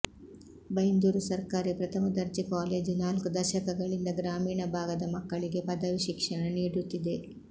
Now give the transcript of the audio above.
ಬೈಂದೂರು ಸರ್ಕಾರಿ ಪ್ರಥಮ ದರ್ಜೆ ಕಾಲೇಜು ನಾಲ್ಕು ದಶಕಗಳಿಂದ ಗ್ರಾಮೀಣ ಭಾಗದ ಮಕ್ಕಳಿಗೆ ಪದವಿ ಶಿಕ್ಷಣ ನೀಡುತ್ತಿದೆ